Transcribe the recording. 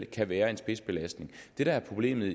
kan være en spidsbelastning det der er problemet